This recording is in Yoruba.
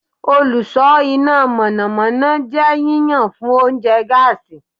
Oluso ina mọnamọna jẹ yiyan fun ounjẹ gaasi